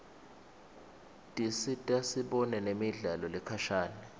tisita sibone nemidlalo lekhashane